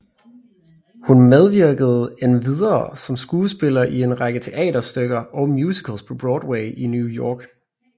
Hun medvirkede endvidere som skuespiller i en række teaterstykker og musicals på Broadway i New York